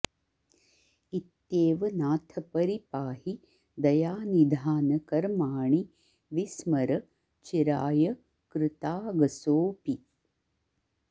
इत्येव नाथ परिपाहि दयानिधान कर्माणि विस्मर चिराय कृतागसोऽपि